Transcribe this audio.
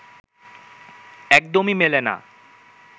একদমই মেলে না